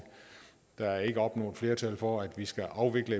der er endnu ikke opnået flertal for at vi skal afvikle